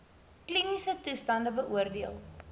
kliniese toestande beoordeel